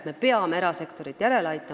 Me peame erasektorit järele aitama.